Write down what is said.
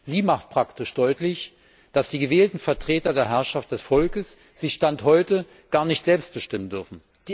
Sie macht praktisch deutlich, dass die gewählten Vertreter der Herrschaft des Volkes sich Stand heute gar nicht selbst bestimmen dürfen.